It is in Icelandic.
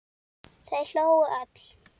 Þau hlógu öll.